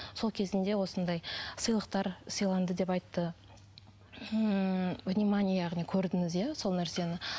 сол кезінде осындай сыйлықтар сыйланды деп айтты ммм внимание яғни көрдіңіз иә сол нәрсені